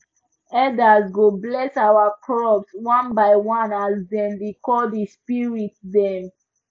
elders go bless our crops one by one as dem dey call the spirit dem